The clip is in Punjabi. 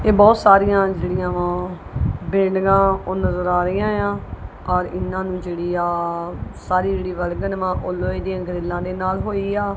ਇਹ ਬਹੁਤ ਸਾਰੀਆਂ ਜਿਹੜੀਆਂ ਵਾ ਬਿਲਡਿੰਗਾਂ ਉਹ ਨਜ਼ਰ ਆ ਰਹੀਆਂ ਆ ਔਰ ਇਹਨਾਂ ਨੂੰ ਜਿਹੜੀ ਸਾਰੀ ਜਿਹੜੀ ਵਲਗਨ ਵਾ ਲੋਹੇ ਦੀਆਂ ਗਰੀਲਾਂ ਦੇ ਨਾਲ ਹੋਈ ਆ।